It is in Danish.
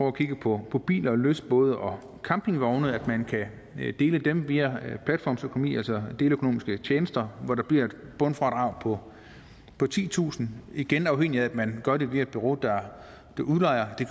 at kigge på på biler lystbåde og campingvogne og at man kan dele dem via platformsøkonomi altså deleøkonomiske tjenester hvor der bliver et bundfradrag på titusind igen afhængigt af at man gør det via et bureau der udlejer det